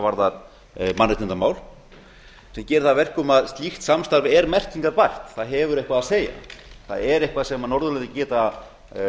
varðar mannréttindamál sem gerir það að verkum að slíkt samstarf er merkingarbært það hefur eitthvað að segja það er eitthvað sem norðurlöndin geta